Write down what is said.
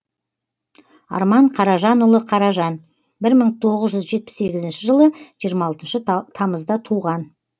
арман қаражанұлы қаражан бір мың тоғыз жүз жетпіс сегізінші жылы жиырма алтыншы тамызда туған